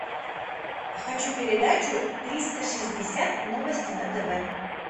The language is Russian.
хочу передачу триста шестьдесят новости на тв